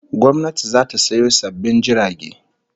Gwamnati zata sayo sabbin jirage